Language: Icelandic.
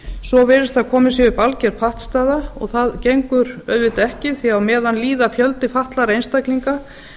svo virðist sem komin sé upp alger pattstaða og það gengur auðvitað ekki því að á meðan líður fjöldi fatlaðra einstaklinga